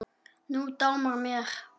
Nú dámar mér!